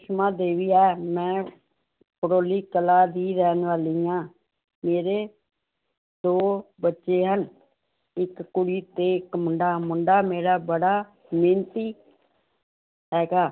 ਮੈਂ ਭੜੋਲੀ ਕਲਾਂ ਦੀ ਰਹਿਣ ਵਾਲੀ ਹਾਂ ਮੇਰੇ ਦੋ ਬੱਚੇ ਹਨ, ਇੱਕ ਕੁੜੀ ਤੇ ਇੱਕ ਮੁੰਡਾ, ਮੁੰਡਾ ਮੇਰਾ ਬੜਾ ਮਿਹਨਤੀ ਹੈਗਾ।